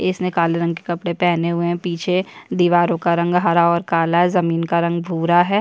इसने काले रंग के कपडे पहने हुए है पीछे दीवारों का रंग हरा और काला है जमीन का रंग भूरा है।